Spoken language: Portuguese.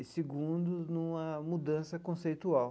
E, segundo, numa mudança conceitual.